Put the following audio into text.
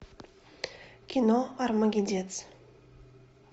кино армагеддец